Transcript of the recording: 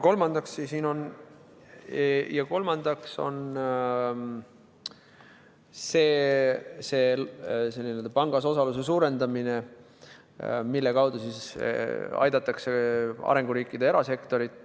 Kolmandaks on see pangas osaluse suurendamine, mille kaudu aidatakse arenguriikide erasektorit.